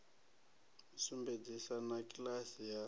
u sumbedzisa na kiḽasi ya